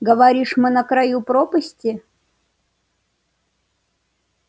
говоришь мы на краю пропасти